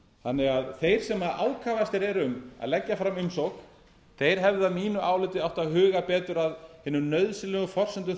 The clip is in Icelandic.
þannig að þeir sem ákafastir eru í að leggja fram umsókn hefðu að mínu áliti átt að huga betur að hinum nauðsynlegu forsendum